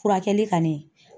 Furakɛli ka ni.